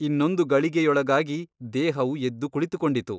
ಇನ್ನೊಂದು ಗಳಿಗೆಯೊಳಗಾಗಿ ದೇಹವು ಎದ್ದು ಕುಳಿತುಕೊಂಡಿತು.